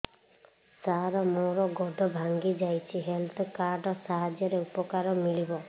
ସାର ମୋର ଗୋଡ଼ ଭାଙ୍ଗି ଯାଇଛି ହେଲ୍ଥ କାର୍ଡ ସାହାଯ୍ୟରେ ଉପକାର ମିଳିବ